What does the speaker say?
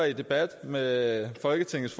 i en debat med folketingets